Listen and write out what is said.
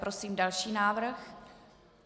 Prosím další návrh.